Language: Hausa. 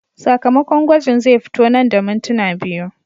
Sakamakon gwajin zai fito nan da mintuna biyu.